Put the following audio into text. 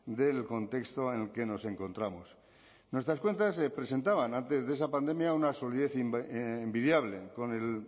del contexto en el que nos encontramos nuestras cuentas presentaban antes de esta pandemia una solidez envidiable con el